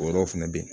O yɔrɔ fɛnɛ be yen